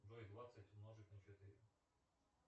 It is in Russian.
джой двадцать умножить на четыре